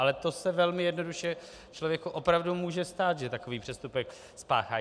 Ale to se velmi jednoduše člověku opravdu může stát, že takový přestupek spáchá.